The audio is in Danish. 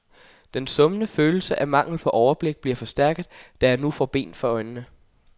Den summende følelse af mangel på overblik bliver forstærket, da jeg nu får bind for øjnene.